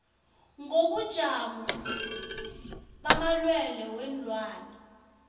ngobujamo bamalwelwe weenlwana